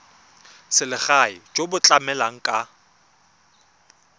selegae jo bo tlamelang ka